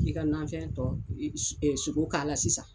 I ka nanfɛntɔ su sugo k'a la sisan.